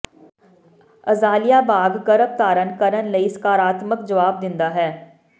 azalea ਬਾਗ ਗਰੱਭਧਾਰਣ ਕਰਣ ਲਈ ਸਕਾਰਾਤਮਕ ਜਵਾਬ ਦਿੰਦਾ ਹੈ